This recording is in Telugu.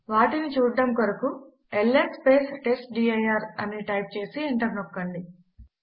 వాటిని చూడడము కొరకు ల్స్ టెస్ట్డిర్ అని టైప్ చేసి ఎంటర్ నొక్కండి